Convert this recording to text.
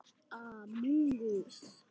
Og kerti.